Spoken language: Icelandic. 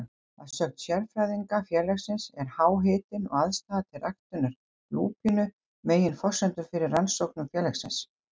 Að sögn sérfræðinga félagsins er háhitinn og aðstaða til ræktunar lúpínu meginforsendur fyrir rannsóknum félagsins.